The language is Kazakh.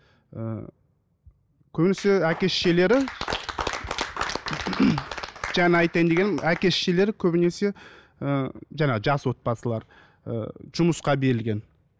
ыыы көбінесе әке шешелері жаңағы айтайын дегенім әке шешелері көбінесе ы жаңағы жас отбасылар ы жұмысқа берілген